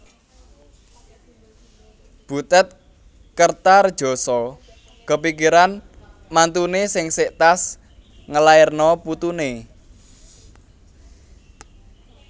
Butet Kertaredjasa kepikiran mantune sing sek tas ngelairno putune